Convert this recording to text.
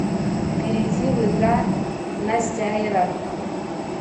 перейди в игра настяира